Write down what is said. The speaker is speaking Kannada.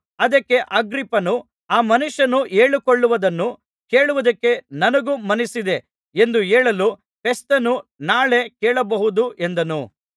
ಅದಕ್ಕೆ ಅಗ್ರಿಪ್ಪನು ಆ ಮನುಷ್ಯನು ಹೇಳಿಕೊಳ್ಳುವುದನ್ನು ಕೇಳುವುದಕ್ಕೆ ನನಗೂ ಮನಸ್ಸಿದೆ ಎಂದು ಹೇಳಲು ಫೆಸ್ತನು ನಾಳೆ ಕೇಳಬಹುದು ಎಂದನು